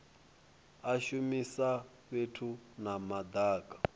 a shumisa fhethu ha madaka